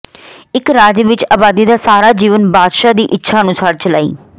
ਇੱਕ ਰਾਜ ਵਿੱਚ ਆਬਾਦੀ ਦਾ ਸਾਰਾ ਜੀਵਨ ਬਾਦਸ਼ਾਹ ਦੀ ਇੱਛਾ ਅਨੁਸਾਰ ਚਲਾਈ